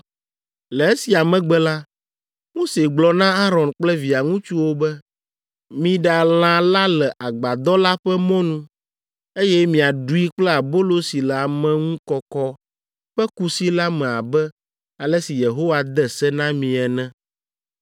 Le esia megbe la, Mose gblɔ na Aron kple via ŋutsuwo be, “Miɖa lã la le Agbadɔ la ƒe mɔnu, eye miaɖui kple abolo si le ameŋukɔkɔ ƒe kusi la me abe ale si Yehowa de se na mi ene.